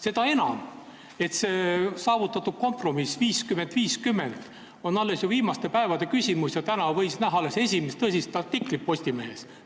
Seda enam, et see kompromiss 50 : 50 on ju päris viimaste päevade küsimus, alles täna võis sel teemal näha esimest tõsist artiklit Postimehes.